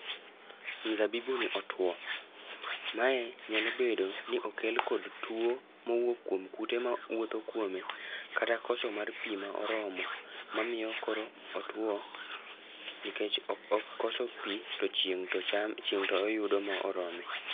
Mzabibu ni otuo, mae nyalo bedo ni okel kod tuo mowuok kuom kute ma wuotho kuome. Kata koso mar pi ma oromo, ma miyo koro otuo nikech o okoso pi to chieng' to chame, chieng' to oyudo morome.